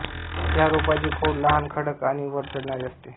या रोपाचे खोड लहान कडक आणि वर चढणारे असते